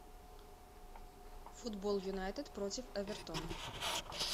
футбол юнайтед против эвертон